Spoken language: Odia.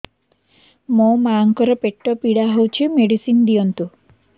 ମୋ ମାଆଙ୍କର ପେଟ ପୀଡା ହଉଛି ମେଡିସିନ ଦିଅନ୍ତୁ